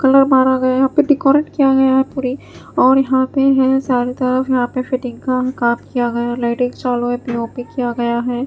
Colour मारा गया है यहां पे डेकोरेट किया गया पूरी और यहां पे है सारे तरफ यहां पे फिटिंग का काम किया गया है लाइटिंग चालू है पी_ओ_पी किया गया है।